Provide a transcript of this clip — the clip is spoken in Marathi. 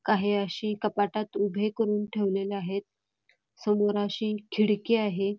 काही अशी कपाटात उभे करून ठेवलेले आहेत समोर अशी खिडकी आहे.